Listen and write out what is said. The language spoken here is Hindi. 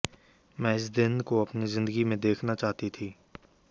मैं इस दिन को अपनी जिंदगी में देखना चाहती थी